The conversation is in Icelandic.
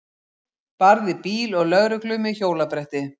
Barði bíl og lögreglu með hjólabretti